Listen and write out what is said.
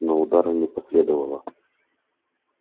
но удара не последовало